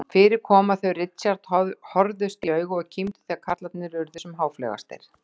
Fyrir kom að þau Richard horfðust í augu og kímdu þegar karlarnir urðu sem háfleygastir.